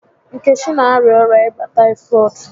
Nkechi n'arịa ọrịa ịba taịfọdụ